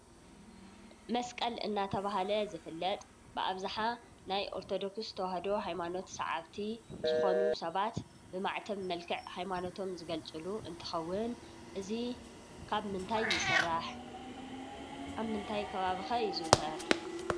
መስቀል እናተብሃለ ዝፍለጥ ብኣብዝሓ ናይ ኦርቶዶክስ ተዋሃዶ ሃይማኖት ሰዓብቲ ዝኮኑ ሰባት ብማዕተብ መልክዕ ሃይማኖቶም ዝገልፅሉ እንትኸውን እዙይ ካብ ምንታይ ይስራሕ ኣብ ምንታይ ከባቢ'ከ ይዝውተር።